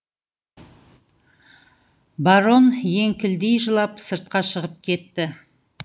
барон еңкілдей жылап сыртқа шығып кетті